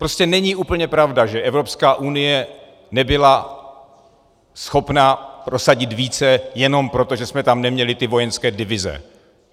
Prostě není úplně pravda, že Evropská unie nebyla schopna prosadit více jenom proto, že jsme tam neměli ty vojenské divize.